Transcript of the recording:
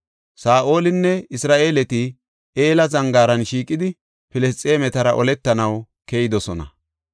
Saa7olinne Isra7eeleti Ela zangaaran shiiqidi, Filisxeemetara oletanaw keyidosona.